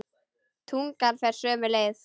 Tungan fer sömu leið.